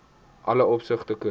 alle opsigte korrek